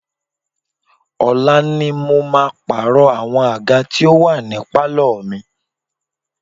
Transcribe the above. Ọ̀la ni mo máa pààrọ̀ àwọn àga tí ó wà ní pálọ̀ mi.